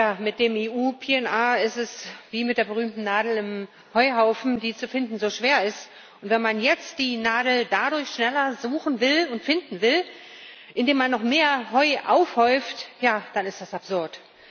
Tja, mit dem EU PNR ist es wie mit der berühmten Nadel im Heuhaufen, die zu finden so schwer ist, und wenn man jetzt die Nadel dadurch schneller suchen will und finden will, dass man noch mehr Heu aufhäuft ja, dann ist das absurd.